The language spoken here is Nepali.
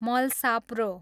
मलसाप्रो